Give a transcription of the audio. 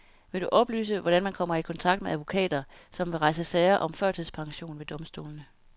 Vil du oplyse, hvordan man kommer i kontakt med advokater, som vil rejse sager om førtidspension ved domstolene?